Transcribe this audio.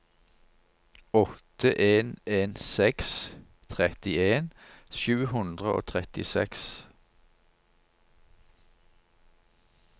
åtte en en seks trettien sju hundre og trettiseks